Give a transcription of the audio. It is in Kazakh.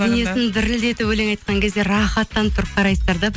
денесін дірілдетіп өлең айтқан кезде рахаттанып тұрып қарайсыздар да